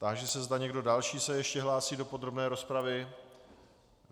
Táži se, zda někdo další se ještě hlásí do podrobné rozpravy.